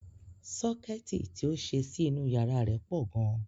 Sọ́kẹ́ẹ̀tì ti ó ṣe sí inú yàrá rẹ̀ pọ̀ gan.